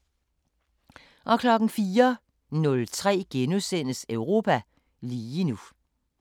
04:03: Europa lige nu *